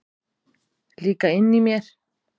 Líka inni í mér.